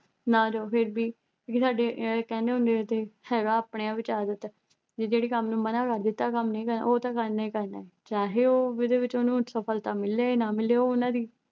ਨਾ ਜਾਓ ਫਿਰ ਵੀ ਇੱਕ ਸਾਡੇ ਕਹਿੰਦੇ ਹੁੰਦੇ ਆ ਹੈਗਾ ਆਪਣੇ ਵਿੱਚ ਆ ਆਦਤ ਕਿ ਜਿਹੜੇ ਕੰਮ ਨੂੰ ਮਨ੍ਹਾਂ ਕਰ ਦਿੱਤਾ ਆ ਕੰਮ ਨਹੀਂ ਕਰਨਾ ਉਹ ਤੇ ਕਰਨਾ ਹੀ ਕਰਨਾ ਚਾਹੇ ਉਹਦੇ ਵਿੱਚ ਉਹਨੂੰ ਸਫਲਤਾ ਮਿਲੇ ਨਾ ਮਿਲੇ ਉਹ ਉਹਨਾਂ ਦੀ